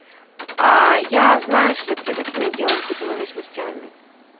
а я знаешь ли привык иметь дело с бытовыми смертями